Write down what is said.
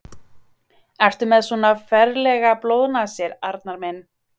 Ertu með svona ferlegar blóðnasir, Arnar minn?